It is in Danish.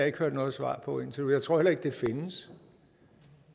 ikke hørt noget svar på indtil nu og jeg tror heller ikke det findes